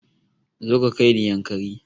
Zo ka kaini yankari